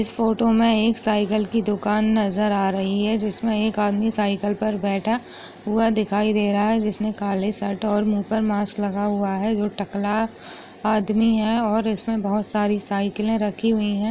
इस फोटो मे एक साइकिल की दुकान नजर आ रही है जिसमे एक आदमी साइकिल पर बैठा हुआ दिखाई दे रहा है जिसने काले शर्ट और मुह पर मास्क लगा हुआ है वो टकला आदमी है और इसमे बहुत सारी साइकीले रखी हुई है।